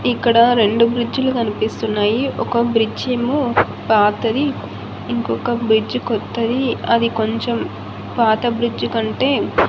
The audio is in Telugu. ఇక్కడ రెండు బ్రిడ్జ్ లు కనిపిస్తున్నయి ఒక బ్రిడ్జ్ ఏమో పాతది ఇంకొక బ్రిడ్జ్ కొత్తది అది కొంచం పాత బ్రిడ్జ్ కంటే--